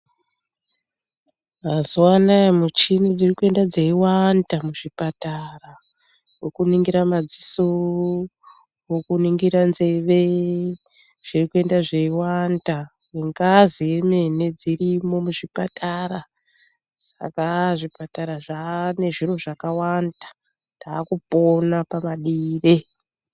Mazuva anawa michini dziri kuita dzeiwanda muzvipatara wokuningira madziso ,wekuningira nzeve ,zviri kuenda zveiwanda, wengazi ,wemene dzirimo muzvipatara .Saka haa zvipatara zvaanezviro zvakawanda .Takupona pamadiro.